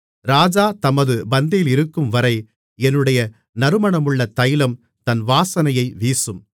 ராஜா தமது பந்தியிலிருக்கும் வரை என்னுடைய நறுமணமுள்ள தைலம் தன் வாசனையை வீசும்